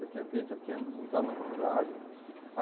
Já tinha feito, já tinha entrado na faculdade.